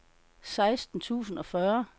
seksten tusind og fyrre